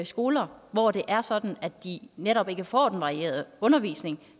skoler hvor det er sådan at de netop ikke får den varierede undervisning